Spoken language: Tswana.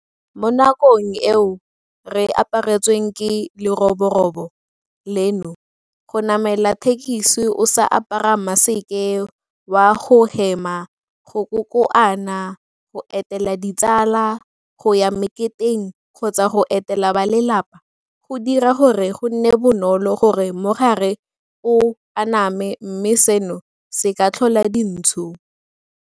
Mo nakong eo re aparetsweng ke leroborobo leno, go namela thekesi o sa apara maseke wa go hema, go kokoana, go etela ditsala, go ya meketeng kgotsa go etela balelapa, go dira gore go nne bonolo gore mogare o aname mme seno se ka tlhola dintsho.